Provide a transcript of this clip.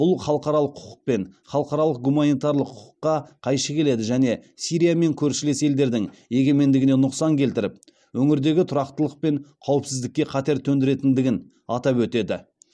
бұл халықаралық құқық пен халықаралық гуманитарлық құқыққа қайшы келеді және сирия мен көршілес елдердің егемендігіне нұқсан келтіріп өңірдегі тұрақтылық пен қауіпсіздікке қатер төндіретіндігін атап өтеді